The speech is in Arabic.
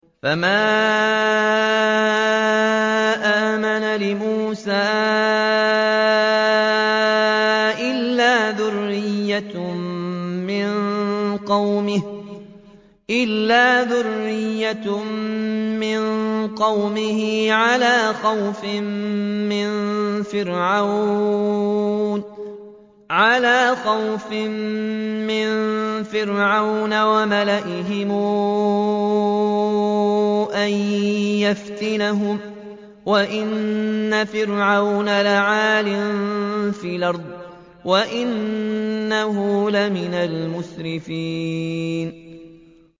فَمَا آمَنَ لِمُوسَىٰ إِلَّا ذُرِّيَّةٌ مِّن قَوْمِهِ عَلَىٰ خَوْفٍ مِّن فِرْعَوْنَ وَمَلَئِهِمْ أَن يَفْتِنَهُمْ ۚ وَإِنَّ فِرْعَوْنَ لَعَالٍ فِي الْأَرْضِ وَإِنَّهُ لَمِنَ الْمُسْرِفِينَ